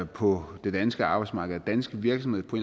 på det danske arbejdsmarkedet danske virksomheder på